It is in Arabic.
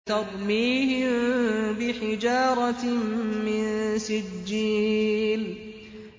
تَرْمِيهِم بِحِجَارَةٍ مِّن سِجِّيلٍ